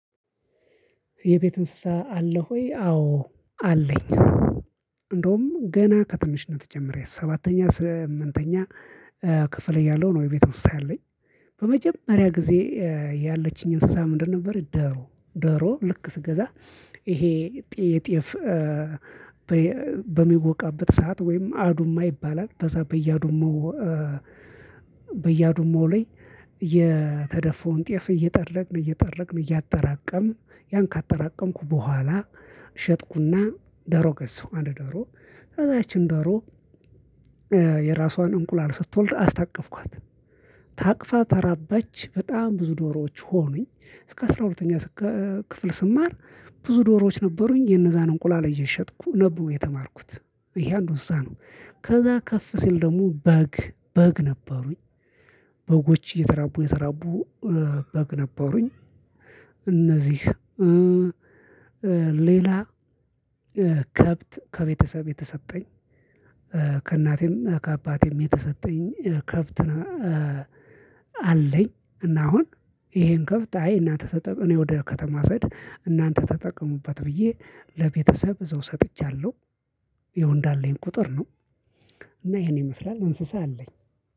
የቤት እንስሳ አለህ ውይ? አዎ አለኝ። እንደውም ገና ከትንሽነት ጀምሬ ሰባተኛ ስምንተኛ ክፍል እያለሁ ነው የቤት እንስ ሳ ያለኝ። በመጀመሪያ ጊዜ ያለችኝ እንስሳ ምንድነው ደሮ፤ ደሮ ልክ ስገዛ ይሄ ጤፍ በሚወቃበት ሰዓት ወይም አዱማ ይባላል። በዛ በየአዱማው በየአዱማው ላይ የተደፋውን ጤፍ እየጠረግን እየጠረቅን እያጠራቀምን ያን ካጠራቀምኩ በኋላ ሸጥኩና ደሮ ገዛሁ። አንድ ደሮ ከዛ ያችን ደሮ የራሷን እንቁላል ስትወልድ አስታቀፍኳት። ታቅፋ ተራባች። በጣም ብዙ ዶሮዎች ሆኑኝ። እስከ አስራ ሁለተኛ ክፍል ስማር ብዙ ዶሮዎች ነበሩኝ። የነዛን እንቁላል እየሸጥኩ ነው የተማርኩት። ይሄ አንዱ እንስሳ ነው። ከዛ ከፍ ሲል ደግሞ በግ በግ ነበሩኝ። በጎች እየተራቡ እየተራቡ በግ ነበሩኝ። እነዚህ ሌላ ከብት ከቤተሰብ የተሰጠኝ ከእናቴም ከአባቴም የተሰጠኝ ከብት አለኝ። እና አሁን ይሄን ከብት አይ እናንተ ተጠቅ ወደ ከተማ ስሄድ እናንተ ተጠቀሙበት ብዬ ለቤተሰብ እዛው ሰጥቻለሁ። ያው እንዳለኝ ቁጥር ነው። እና ይሄን ይመስላል። እንስሳ አለኝ።